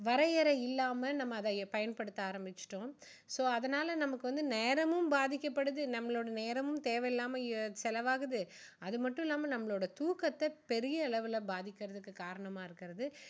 வரையறை இல்லாம நம்ம அதை பயன்படுத்த ஆரம்பிச்சிட்டோம் so அதனால நமக்கு வந்து நேரமும் பாதிக்கப்படுது நம்மளோட நேரமும் தேவையில்லாம செலவு ஆகுது அது மட்டும் இல்லாம நம்மளோட துக்கத்தை பெரிய அளவுல பாதிக்குறதுக்கு காரணமா இருக்குறது